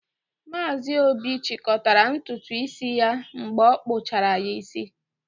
Maazi Obi chịkọtara ntutu isi ya mgbe a kpụchara ya isi.